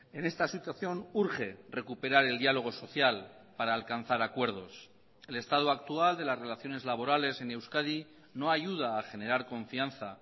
en esta situación urge recuperar el diálogo social para alcanzar acuerdos el estado actual de las relaciones laborales en euskadi no ayuda a generar confianza